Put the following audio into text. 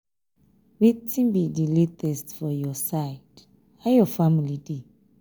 wetin be di latest for your side how your family dey?